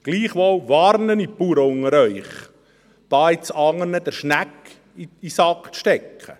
Gleichwohl warne ich die Bauern unter Ihnen, hier jetzt anderen die Schnecke in den Sack zu stecken.